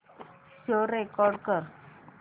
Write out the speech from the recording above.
show record कर